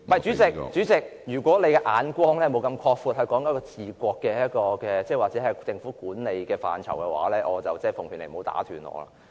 主席，如果你不能擴闊你的眼光......是治國或政府管理的範疇，我奉勸你不要打斷我的發言。